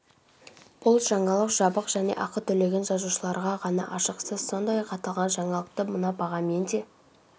бұл жаңалық жабық және ақы төлеген жазылушыларға ғана ашық сіз сондай-ақ аталған жаңалықты мына бағамен де